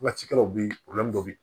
Waatikɛlaw bɛ yen bɛ yen